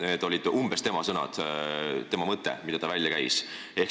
Umbes sellised olid tema sõnad ja tema mõte, mida ta välja käis.